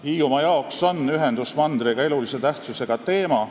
Hiiumaa jaoks on ühendus mandriga elulise tähtsusega teema.